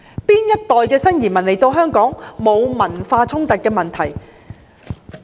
哪一代新移民來港後沒有產生文化衝突的問題？